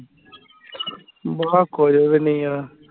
ਬਸ ਕੁਝ ਵੀ ਨਹੀਂ ਆ